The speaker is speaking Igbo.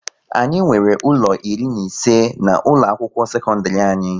Anyị nwere ụlọ iri na ise na ụlọ akwụkwọ sekondiri anyị